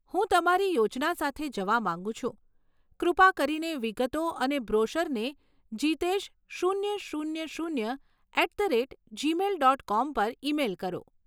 હું તમારી યોજના સાથે જવા માંગુ છું, કૃપા કરીને વિગતો અને બ્રોશરને જિતેશ શૂન્ય શૂન્ય શૂન્ય at the rate Gmail dot com પર ઇમેઇલ કરો.